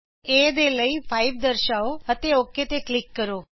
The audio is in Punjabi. a ਦੇ ਲਈ 5 ਦਰਸ਼ਾਓ ਅਤੇ ਓਕ ਤੇ ਕਲਿਕ ਕਰੋ